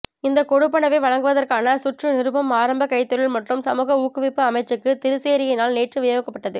இந்த கொடுப்பனவை வழங்குவதற்கான சுற்று நிருபம் ஆரம்ப கைத்தொழில் மற்றும் சமூக ஊக்குவிப்பு அமைச்சுக்கு திறைச்சேரியினால் நேற்று விநியோகிக்கப்பட்டது